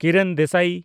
ᱠᱤᱨᱚᱱ ᱫᱮᱥᱟᱭ